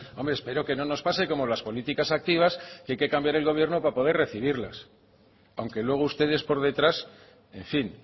hombre espero que no nos pase como las políticas activas que hay que cambiar el gobierno para poder recibirlas aunque luego ustedes por detrás en fin